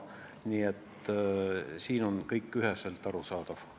Nii et siin on kõik üheselt arusaadav.